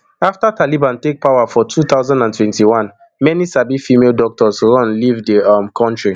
afta taliban take power for two thousand and twenty-one many sabi female doctors run leave di um kontri